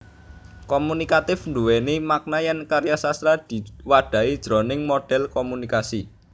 Komunikatif nduwèni makna yèn karya sastra diwadhahi jroning model komunikasi